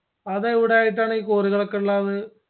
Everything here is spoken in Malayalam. അതെവിടെയായിട്ടാണ് ഈ cory കൾ ഒകെ ഇള്ളാത്